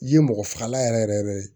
Ye mɔgɔ fagalan yɛrɛ yɛrɛ yɛrɛ ye